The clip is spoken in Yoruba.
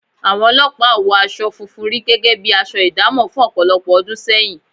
Àwọn olọ́pàá ò wọ aṣọ funfun rí gẹ́gẹ́ bi aṣọ ìdámọ̀ fún ọ̀pọ̀lọpọ̀ ọdún sẹ́yìn